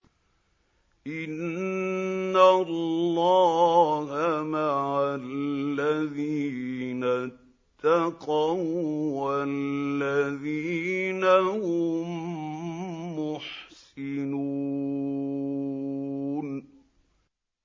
إِنَّ اللَّهَ مَعَ الَّذِينَ اتَّقَوا وَّالَّذِينَ هُم مُّحْسِنُونَ